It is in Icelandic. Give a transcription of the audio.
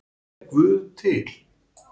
Er guð til